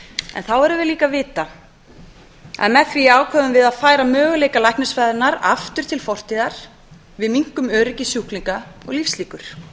en þá verðum við líka að vita að með því ákveðum við að færa möguleika læknisfræðinnar aftur til fortíðar við minnkum öryggi sjúklinga og lífslíkur